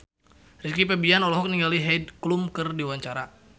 Rizky Febian olohok ningali Heidi Klum keur diwawancara